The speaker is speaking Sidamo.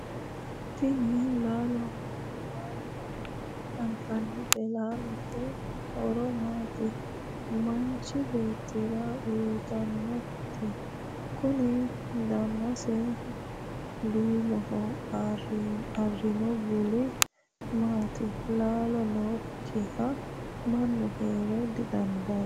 tini laalo mama anfannite? laalote horo maati manchi beettira uyiitannoti? kuni danasi duumoho marino bulli maati? laalo nookkiha manu heera dandaanno?